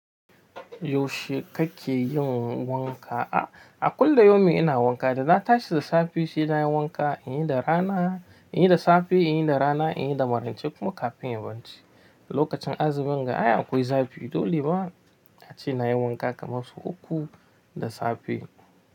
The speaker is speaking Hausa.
Yaushe kake yin wanka? A a kullum yomi ina wanka, da na tashi da safe shine nayi wanka, in yi da rana, in yi da safe, in yi da rana, in yi da marance kuma kafin yawanci. Lokacin azumin ga a yi akwai zafi, dole ba ace nayi wanka kamar sau uku da safe.